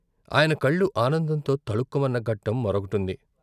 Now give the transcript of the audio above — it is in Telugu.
ఆయన కళ్ళు ఆనందంతో తళుక్కుమన్న ఘట్టం మరొకటుంది.